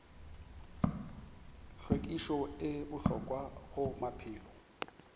hlwekišo e bohlokwa go maphelo